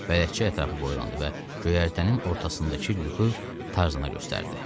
Bələdçi ətrafı boylandı və göyərtənin ortasındakı lüku Tarzana göstərdi.